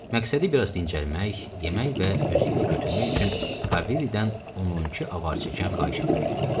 Məqsədi biraz dincəlmək, yemək və özü ilə götürmək üçün Kaviridən on-on iki avar çəkən xahiş etmək idi.